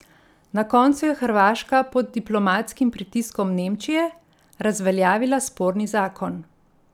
Na koncu je Hrvaška pod diplomatskim pritiskom Nemčije, razveljavila sporni zakon.